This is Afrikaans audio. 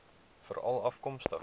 veralafkomstig